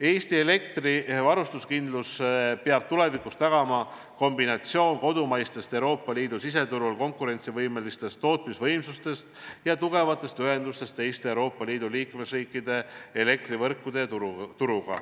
Eesti elektrivarustuskindluse peab tulevikus tagama kombinatsioon kodumaistest Euroopa Liidu siseturul konkurentsivõimelistest tootmisvõimsustest ja tugevatest ühendustest teiste Euroopa Liidu liikmesriikide elektrivõrkude ja -turuga.